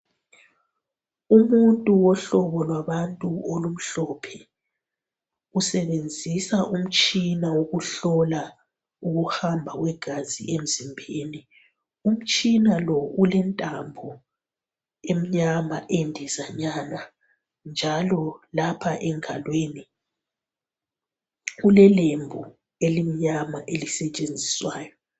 Umuntu wohlobo lwabantu olumhlophe usebenzisa umtshina wokuhlola ukuhamba kwegazi emzimbeni. Umtshina lo ulentambo emnyama endezanyana njalo lapha engalweni ulelembu elimnyama elisetshenziswayo.